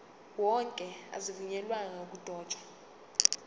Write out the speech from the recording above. wonke azivunyelwanga ukudotshwa